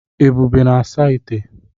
Ebube na-asa ite